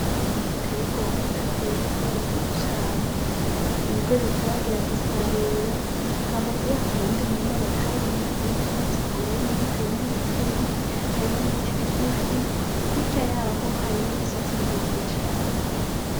Umurima munini uteye igomwe hateyemwo ibigori vyiza cane, ibigori bitaragera gusarura. Hambavu yaho hari uwundi murima batarimye harimwo ubwatsi bwumye harimwo n'ubutumye, harimwo n'ibiti bigufi, hirya yaho hari n'imisozi miremire cane.